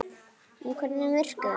En hvernig virkar þetta?